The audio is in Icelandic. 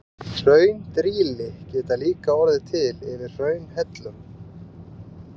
Hraundrýli geta líka orðið til yfir hraunhellum.